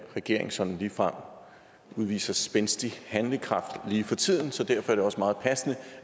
regering sådan ligefrem udviser spændstig handlekraft lige for tiden så derfor er det også meget passende